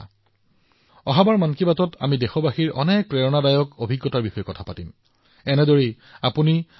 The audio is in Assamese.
আগন্তুক সময়ত যেতিয়া আমি মন কী বাতত লগ পাম আমি আমাৰ দেশবাসীৰ আৰু বহুতো অনুপ্ৰেৰণাদায়ক উদাহৰণৰ বিষয়ে কথা পাতিম আৰু নতুন বিষয়ে আলোচনা কৰিম